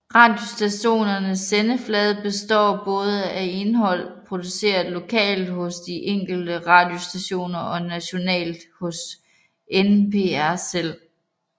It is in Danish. Radiostationernes sendeflade består både af indhold produceret lokalt hos de enkelte radiostationer og nationalt hos NPR selv